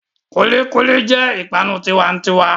Kulikuli jẹ́ ipanu tiwa'n'tiwa.